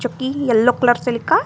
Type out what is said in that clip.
yellow colour से लिखा--